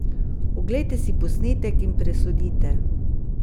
Oglejte si posnetek in presodite!